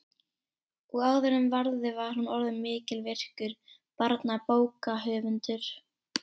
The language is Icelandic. Og áður en varði var hún orðin mikilvirkur barnabókahöfundur.